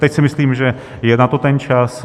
Teď si myslím, že je na to ten čas.